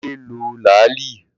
Kunle lo làálí